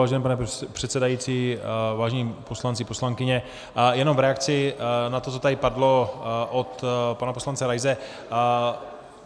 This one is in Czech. Vážený pane předsedající, vážení poslanci, poslankyně, jen v reakci na to, co tady padlo od pana poslance Raise.